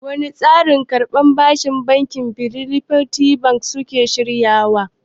Wane tsarin karban bashi bankin fidelity suke shirin buɗewa?